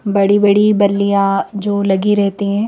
बड़ी बड़ी बल्लीया जो लगी रहते हैं।